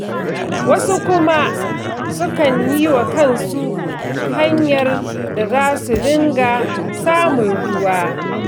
Wasu kuma sukan yi wa kansu hanyar da za su dinga samun ruwa.